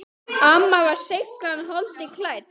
Amma var seiglan holdi klædd.